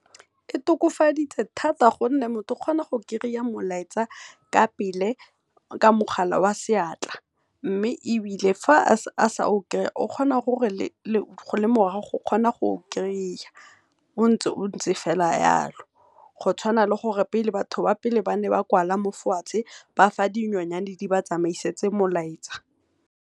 E tokofaditse thata gonne motho o kgona go kry-a molaetsa ka pele ka mogala oa seatla, mme ebile fa a sa o kry-a o kgona gore le fa e le morago o kgona gore a o kry-e, o ntse o ntse fela yalo. Go tshwana le pele batho ba pele ne ba kwala mo fatshe ba fa dinonyane di ba tsameisetse molaetsa.